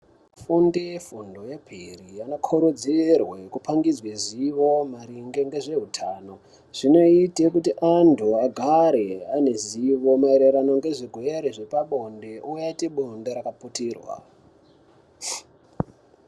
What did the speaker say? Fundo ye fundo yepiri ino kurudzirwe kupangizwe zivo maringe nge zveutano zvino ite kuti antu agare ane ruzivo maererano ngezve gwere zvepa bonde oite bonde raka putirwa.